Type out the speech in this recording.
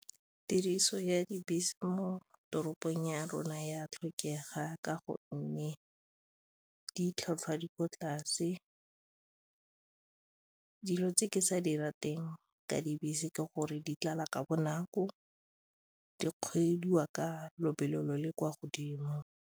Tiriso ya dibese mo toropong ya rona ya tlhokega ka gonne ditlhwatlhwa di kwa tlase, dilo tse ke sa di rateng ka dibese ke gore di tlala ka bonako, di kgweediwa ka lobelo le kwa godimo.